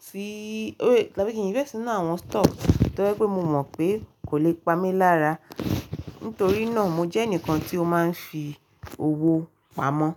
tí-- tàbí kí n invest nínú àwọn stock tójẹ́ pé mo mọ̀ pé kò lè pamí lára. Nítorí náà mo jẹ́ ẹnìkan tí ó máa ń fi owó pamọ́.